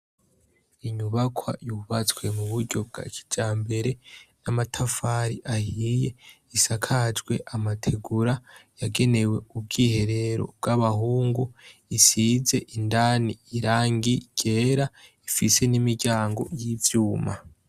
Inyubakwa yubatswe muburyo bwa kijambere, namatafari ahiye, isakajwe amategura yagenewe ubwiherero bwabahungu, isize indani irangi ryera rifise nimiryango yivyuma.